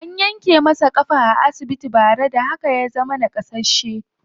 An yanke masa ƙafa a asibiti bara, da haka ya zama naƙasasshe.